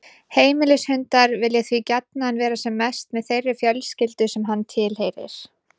Heimilishundar vilja því gjarnan vera sem mest með þeirri fjölskyldu sem hann tilheyrir.